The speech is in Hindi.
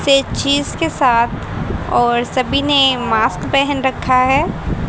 ते चीज के साथ और सभी ने मास्क पहन रखा है।